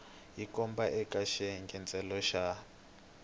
hi kona eka xiyengentsongo xa